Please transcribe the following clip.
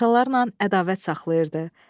Paşalarla ədavət saxlayırdı.